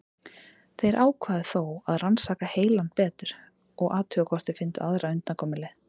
Þeir ákváðu þó að rannsaka hellinn betur og athuga hvort þeir fyndu aðra undankomuleið.